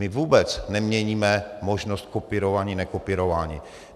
My vůbec neměníme možnost kopírování, nekopírování.